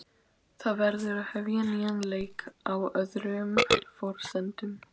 Það verður að hefja nýjan leik, á öðrum forsendum.